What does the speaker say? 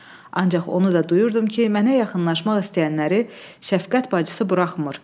Ancaq onu da duyurdum ki, mənə yaxınlaşmaq istəyənləri şəfqət bacısı buraxmır.